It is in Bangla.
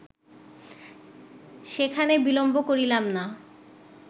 সেখানে বিলম্ব করিলাম না।